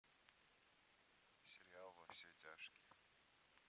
сериал во все тяжкие